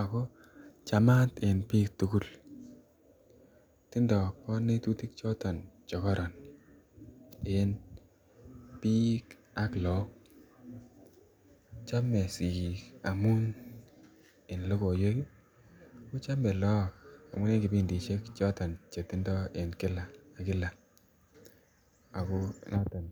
ak ko chamat en biik tukul, tindo konetutik choton chekoron en biik, chome sikiik amun en lokoiwek kochome look amun en kipindishek choton chetindo en kila ak kila ak ko noton.